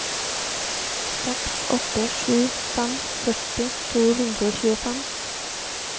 seks åtte sju fem førti to hundre og tjuefem